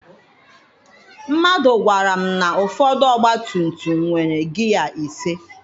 Mmadụ gwara m na ụfọdụ ọgba tum tum nwere gịya ise.